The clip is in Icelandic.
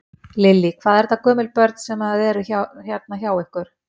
Lillý: Hvað eru þetta gömul börn sem að eru hérna hjá ykkur?